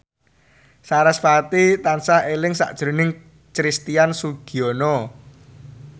sarasvati tansah eling sakjroning Christian Sugiono